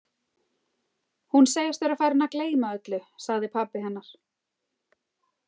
Hún segist vera farin að gleyma öllu, sagði pabbi hennar.